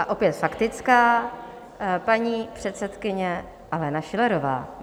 A opět faktická, paní předsedkyně Alena Schillerová.